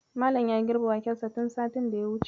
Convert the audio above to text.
Malam ya girbe wakensa tun satin da ya wuce.